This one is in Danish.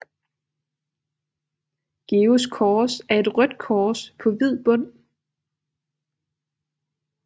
Georgs Kors er et rødt kors på hvid bund